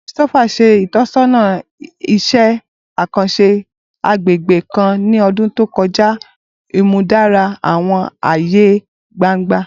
Christopher ṣe itọsọna iṣẹ akanṣe agbegbe kan ni ọdun to kọja, imudara awọn aaye gbangba.